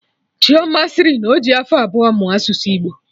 Chioma sịrị na ọjị afọ abụọ mụọ asụsụ Igbo